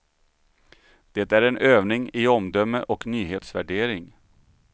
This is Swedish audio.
Det är en övning i omdöme och nyhetsvärdering.